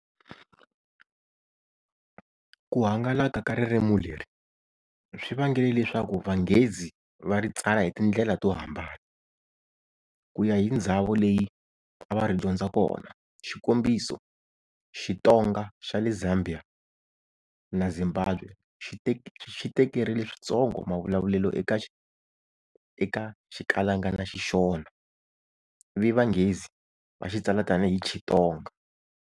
Ku hangalaka ka ririmi leri, swi vangele leswaku vanghezi va ri tsala hi tindlela to hambana, kuya hi ndzhawo leyi a va ri dyondza kona, xikombiso-Xitonga xa le Zambia na Zimbabwe xi tekerile swintsongo mavulavulelo eka Xikalanga na Xishona, ivi vanghezi va xi tsala tani hi Chitonga.